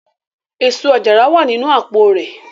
Eso-ajara wa ninu apo rẹ